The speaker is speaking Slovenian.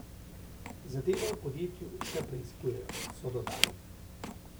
Zadevo v podjetju še preiskujejo, so dodali.